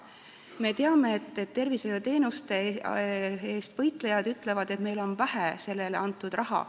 Me teame, et tervishoiuteenuste eest võitlejad ütlevad, et meil on sellele antud vähe raha.